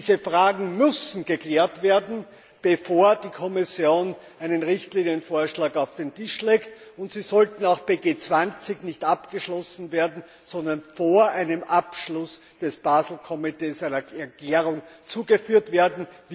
Diese Fragen müssen geklärt werden, bevor die Kommission einen Richtlinienvorschlag auf den Tisch legt. Und sie sollten auch bei G20 nicht abgeschlossen werden, sondern vor einem Abschluss durch das Basel Komitee einer Klärung zugeführt werden.